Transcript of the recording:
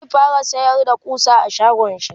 zai fara sayar da ƙusa a shagonshi